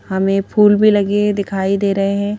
हमें फूल भी लगे दिखाई दे रहे हैं.